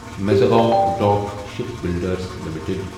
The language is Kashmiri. Mazagon dock shipbuilders limited